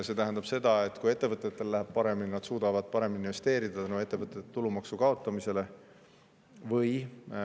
See tähendab seda, et kui ettevõtetel läheb paremini, siis tänu ettevõtete tulumaksu kaotamisele suudavad nad investeerida.